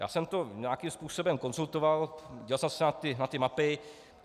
Já jsem to nějakým způsobem konzultoval, díval jsem se na ty mapy.